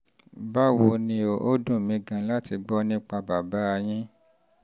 báwo ni? ó dùn mí gan-an láti gbọ́ nípa bàbá yín